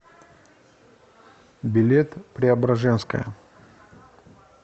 билет преображенская